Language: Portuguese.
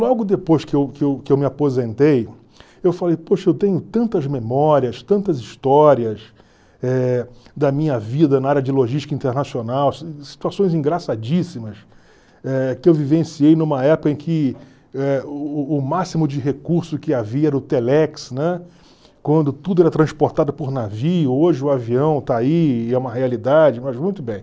Logo depois que eu que eu que eu me aposentei, eu falei, poxa, eu tenho tantas memórias, tantas histórias eh da minha vida na área de logística internacional, si situações engraçadíssimas, eh que eu vivenciei numa época em que eh o o o máximo de recurso que havia era o Telex, né, quando tudo era transportado por navio, hoje o avião está aí, e é uma realidade, mas muito bem.